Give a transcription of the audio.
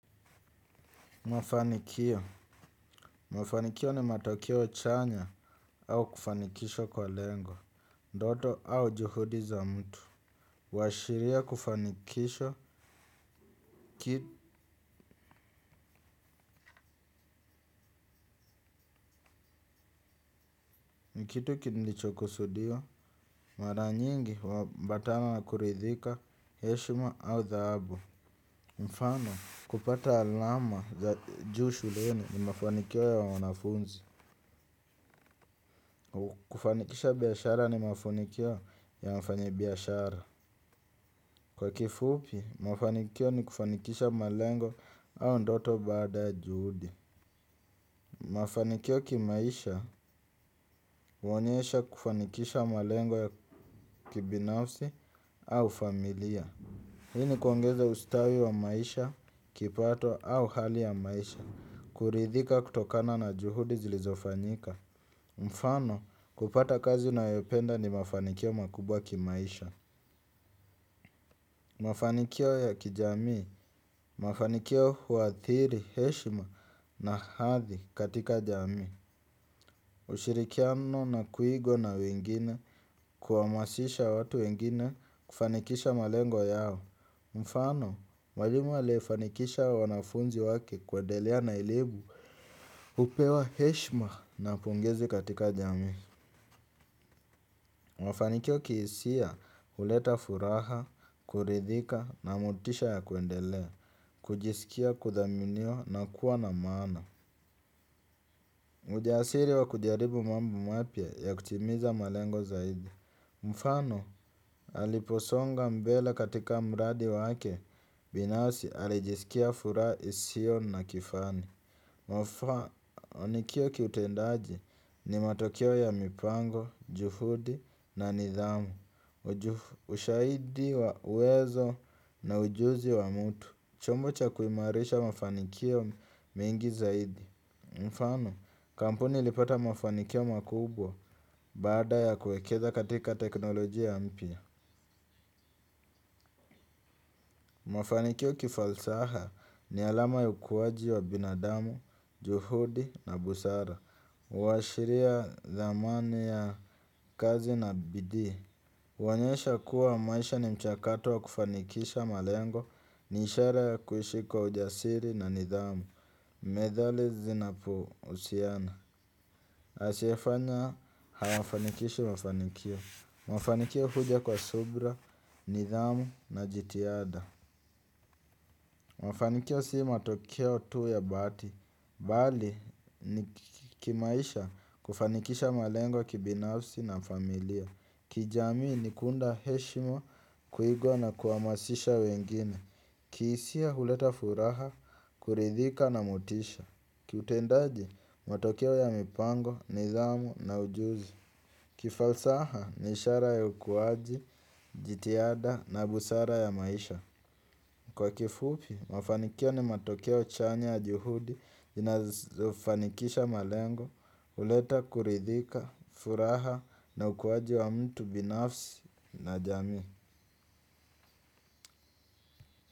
Mafanikio. Mafanikio ni matokeo jana au kufanikisha kwa lengo, ndoto au juhudi za mtu, huashiria kufanikisha, kitu kilichokusudiwa, mara nyingi, huambatana na kuridhika, heshima au dhaabu. Mfano, kupata alama za juu shuleni ni mafanikio ya wanafunzi. Kufanikisha biashara ni mafanikio ya mfanyi biashara. Kwa kifupi, mafanikio ni kufanikisha malengo au ndoto bada ya juhudi. Mafanikio kimaisha, huonyesha kufanikisha malengo ya kibinafsi au familia. Hii kuongeza ustawi wa maisha, kipato au hali ya maisha. Kuridhika kutokana na juhudi ziliizofanyika. Mfano, kupata kazi unayoipenda ni mafanikio makubwa kimaisha. Mafanikio ya kijami, mafanikio huathiri heshima na hadhi katika jamii. Ushirikiano na kuigwa na wengine kuhamasisha watu wengine, kufanikisha malengo yao. Mfano, mwalimu aliyefanikisha wanafunzi wake kuendelea na elimu hupewa heshima na pongezi katika jamii. Mafanikio kihisia huleta furaha, kuridhika na motisha ya kuendelea, kujisikia kuthaminiwa na kuwa na maana. Ujasiri wa kujaribu mambo mapya ya kutimiza malengo zaidi. Mfano, aliposonga mbele katika mradi wake, binasi alijisikia furaha isiyo na kifani. Mafanikio kiutendaji ni matokeo ya mipango, juhudi na nidhamu. Ushahidi wa uwezo na ujuzi wa mtu. Chombo cha kuimarisha mafanikio mengi zaidi. Mfano, kampuni ilipata mafanikio makubwa baada ya kuekeza katika teknolojia mpya. Mafanikio kifalsaha ni alama ya ukuaji wa binadamu, juhudi na busara. Huashiria thamani ya kazi na bidii. Huoyesha kuwa maisha ni mchakato wa kufanikisha malengo ni ishara ya kuishi kwa ujasiri na nidhamu, medhali zinapohusiana. Asiyefanya hawafanikishi wafanikio. Mafanikio huja kwa subra, nidhamu na jitihada. Mafanikio si matokeo tu ya bahati. Bali ni kimaisha kufanikisha malengo kibinafsi na familia. Kijamii ni kuunda heshima kuigwa na kuhamasisha wengine. Kihisia huleta furaha, kuridhika na motisha. Kiutendaji matokeo ya mipango, nidhamu na ujuzi. Kifalsaha ni ishara ya ukuwaji, jitihada na busara ya maisha. Kwa kifupi, mafanikio ni matokeo chanya ya juhudi zinazofanikisha malengo, huleta kuridhika, furaha na ukuwaji wa mtu binafsi na jamii.